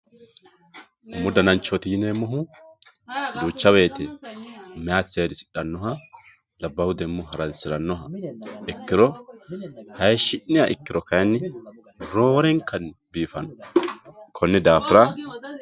umu dananchooti yineemmo woyte duuca woyte mayti seedisidhannoha labbahu demmo haransi'rannoha ikkiro hayshshi'niha ikkiro kayinni roorenkanni biifanno konni daafira